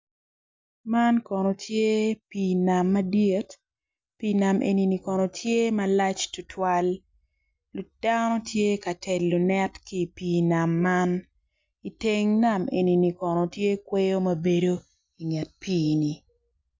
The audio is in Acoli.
Man kono tye pii nam madit pii nam eni kono tye malc tutwal dano tye ka telo net ki i pii nam man iteng nam enini kono tye kweyo ma bedo inget piini.